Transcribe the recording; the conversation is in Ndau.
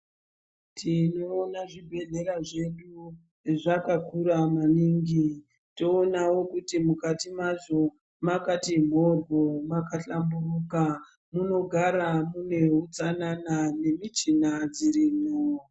Tinoona zvibhedhleya zveduwo zvakakura maningi toonawo kuti mukati mwazvo mwakati mhoryo makahlamburuka munogara mune utsanana nemichina dzirimwo.